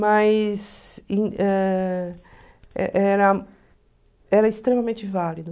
Mas ãh e era era extremamente válido.